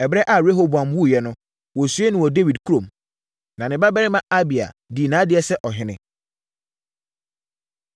Ɛberɛ a Rehoboam wuiɛ no, wɔsiee no wɔ Dawid kurom. Na ne babarima Abia dii nʼadeɛ sɛ ɔhene.